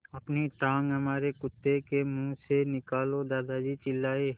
अपनी टाँग हमारे कुत्ते के मुँह से निकालो दादाजी चिल्लाए